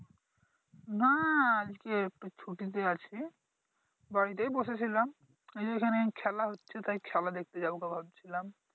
নাহ আজকে ছুটির দিন আজকে বাড়িতেই বসে ছিলাম ওইযে ওইখানে খেলা হচ্ছে তাই খেলা দেখতে যাবো গো ভাবছিলাম ।